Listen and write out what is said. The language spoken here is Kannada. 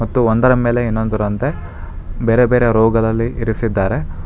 ಮತ್ತು ಒಂದರ ಮೇಲೆ ಇನ್ನೊಂದರಂತೆ ಬೇರೆ ಬೇರೆ ರೋಗದಲ್ಲಿ ಇರಿಸಿದ್ದಾರೆ.